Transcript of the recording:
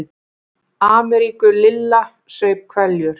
Ameríku Lilla saup hveljur.